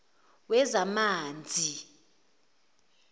wezamanzi